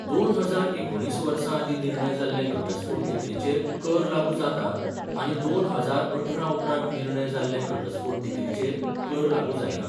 दोन हजार एकुणिस वर्सा आदीं निर्णय जाल्ले घटस्फोट डिक्रीचेर कर लागू जाता आनी दोन हजार अठरा उपरांत निर्णय जाल्ले घटस्फोट डिक्रीचेर कर लागू जायना